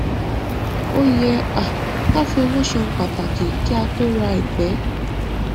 ó yẹ um ká fi owó ṣe ohun pàtàkì kí a tó rà àìpẹ